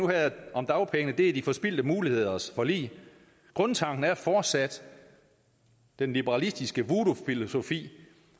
her om dagpenge er de forspildte muligheders forlig grundtanken er fortsat den liberalistiske voodoo filosofi